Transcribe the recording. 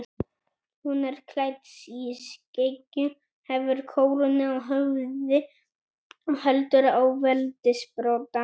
Hún er klædd í skikkju, hefur kórónu á höfði og heldur á veldissprota.